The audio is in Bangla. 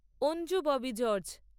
অঞ্জু ববি জর্জ